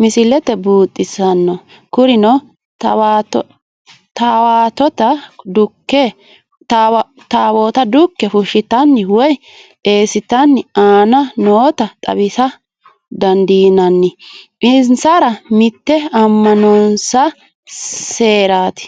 misile buuxxisano kurinno taawotta dukke fushate woyi eesate aana noota xawisa danidinnanni insara mitte ama'nonsa seerati